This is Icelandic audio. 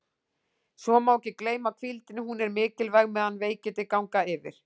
Svo má ekki gleyma hvíldinni, hún er mikilvæg meðan veikindi ganga yfir.